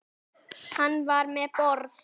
Var hann um borð?